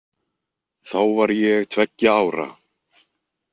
Þá var ég tveggja ára.